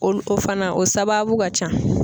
Olu o fana o sababu ka can.